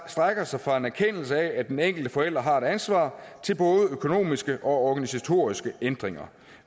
strækker sig fra en erkendelse af at den enkelte forælder har et ansvar til både økonomiske og organisatoriske ændringer